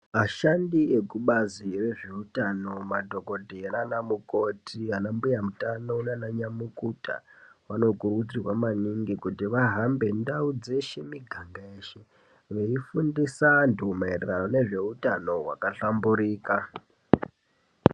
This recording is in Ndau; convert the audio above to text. Ashandi ekubazi rezveutano madhokodheya nana mukoti ana mbuya utano nana nyamukuta vanokurudzirwa maningi kuti vahambe ndau dzeshe miganga yeshe veifundisa anthu maererano ngezveutano hwakahlamburika.